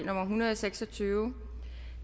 hundrede og seks og tyve